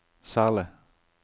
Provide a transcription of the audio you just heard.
særlig